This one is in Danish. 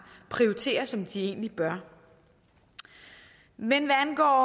og prioriterer som de egentlig bør men hvad angår